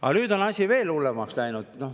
Aga nüüd on asi veel hullemaks läinud.